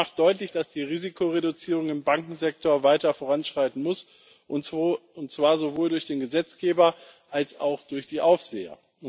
Der Bericht macht deutlich, dass die Risikoreduzierung im Bankensektor weiter voranschreiten muss, und zwar sowohl durch den Gesetzgeber als auch durch die Aufseher.